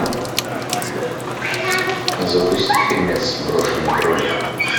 запусти фильмец брошенный кролик